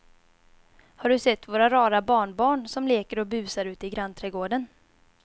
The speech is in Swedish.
Har du sett våra rara barnbarn som leker och busar ute i grannträdgården!